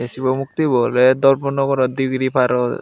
ei sibo muktibu oley dharmanagaro degree paro.